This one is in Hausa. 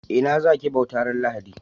Ina za ki bauta ran lahadi?